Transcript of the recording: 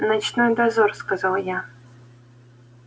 ночной дозор сказал я